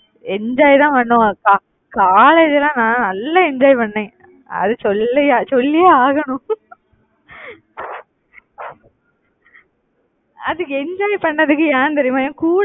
enjoy தான் பண்ணுவோம் college எல்லாம் நான் நல்லா enjoy பண்ணேன். அது சொல்லியா சொல்லியே ஆகணும் அதுக்கு enjoy பண்ணதுக்கு ஏன் தெரியுமா